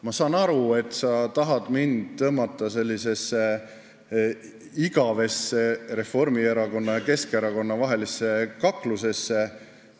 Ma saan aru, et sa tahad mind tõmmata sellisesse igavesse Reformierakonna ja Keskerakonna vahelisse kaklusesse.